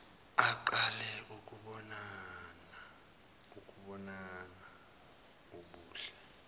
aqale ukubona ubuhle